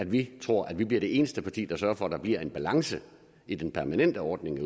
vi tror at vi bliver det eneste parti der sørger for at der bliver en balance i den permanente ordning